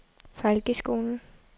folkeskolen